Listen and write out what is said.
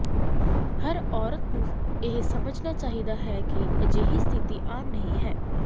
ਹਰ ਔਰਤ ਨੂੰ ਇਹ ਸਮਝਣਾ ਚਾਹੀਦਾ ਹੈ ਕਿ ਅਜਿਹੀ ਸਥਿਤੀ ਆਮ ਨਹੀਂ ਹੈ